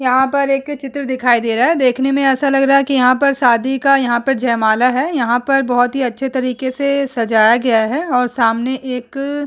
यहाँ पर एक चित्र दिखाई दे रहा है। देखने में ऐसा लग रहा है कि यहाँ पर शादी का यहाँ पर जयमाला है। यहाँ पर बोहोत ही अच्छे तरीके से सजाया गया है और सामने एक --